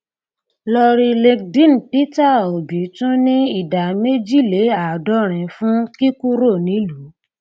lórí linkedin peter obi tún ní ìdá méjìléàádọrin fún kíkúrò nílùú